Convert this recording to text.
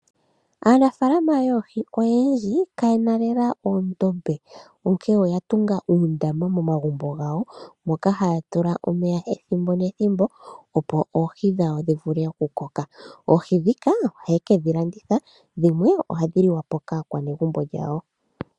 Aanafaalama yoohi oyendji kaye na lela oondombe, onkene oya tunga uundama momagumbo gawo moka haya tula omeya ethimbo nethimbo opo oohi dhawo dhi vule okukoka. Oohi ndhika ohaye kedhilanditha, dhimwe ohadhi liwa po kaakwanegumbo lyawo.